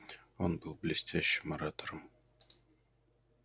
он был блестящим оратором